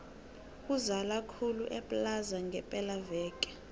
kuzala khulu eplaza ngepela veke